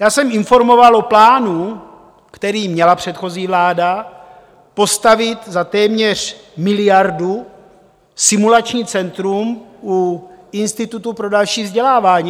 Já jsem informoval o plánu, který měla předchozí vláda, postavit za téměř miliardu simulační centrum u Institutu pro další vzdělávání.